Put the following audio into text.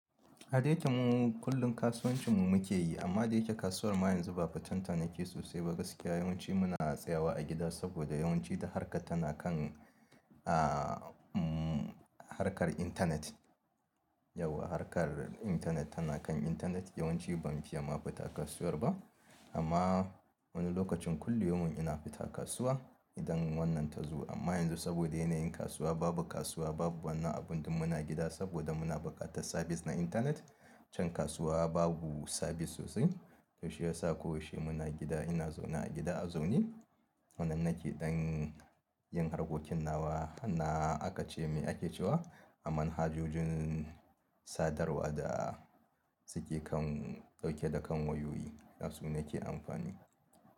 Ada yake mu kullum kasuwancin mu muke yi amma da yake kasuwar ma yanzu ba fitanta nake sosai ba gaskiya yawanci muna tsayawa a gida saboda yawanci duk harkar tana kan a harkar intanet. Yau harkar intanet tana kan intanet yawanci ban fiya ma fita kasuwar ba amma wani lokacin kulli yawan ina fita kasuwa idan wannan ta zo amma yanzu saboda yanayin kasuwa babu kasuwa babu wani abun ɗin muna gida saboda muna buƙatan sabis na intanet can kasuwa babu sabis sosai to shi ya sa ko yaushe muna gida ina zaune a gida a zaune wannan nake dan yin harkokin nawa hanna aka ce mai ake cewa a manhajojin sadarwa da suke kan dauke da kan wayoyi dasu nake amfani.